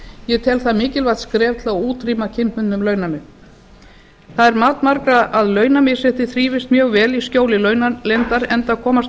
ég tel það mikilvægt skref til að útrýma kynbundnum launamun það er mat margra að launamisrétti þrífist mjög vel í skjóli launaleyndar enda komast